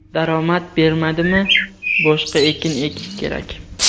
Daromad bermadimi, boshqa ekin ekish kerak.